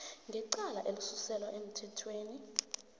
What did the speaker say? ngecala elisuselwa emthethweni